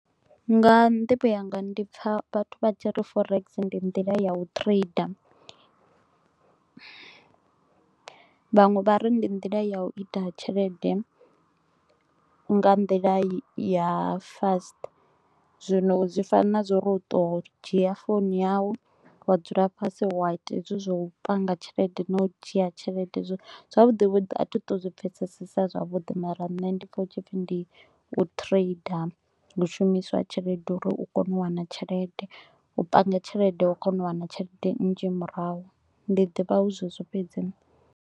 Nga nḓivho yanga ndi pfa vhathu vha tshi ri forex ndi nḓila ya u trader, vhaṅwe vha ri ndi nḓila ya u ita tshelede nga nḓila ya fast. Zwino zwi fana na zwauri u to u dzhia founu yau, wa dzula fhasi, wa ita hezwi zwa u panga tshelete na u dzhia tshelede zwo zwavhuḓi vhuḓi a thi to u zwi pfesesesa zwavhuḓi mara nṋe ndi pfa hu tshi pfi ndi u trader. Hu shumiswa tshelede uri u kone u wana tshelede, u panga tshelede wa kona u wana tshelede nnzhi murahu, ndi ḓivha hu zwezwo fhedzi nṋe